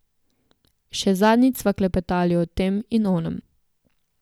Še zadnjič sva klepetali o tem in onem.